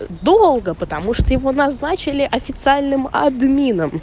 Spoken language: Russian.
долго потому что его назначили официальным админом